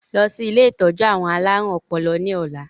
Lọ sí ilé ìtọ́jú àwọn alárùn ọpọlọ ni ọ̀la!